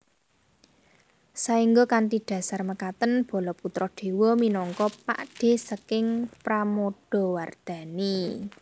Saengga kanthi dhasar mekaten Balaputradewa minangka pakdhe saking Pramodawardhani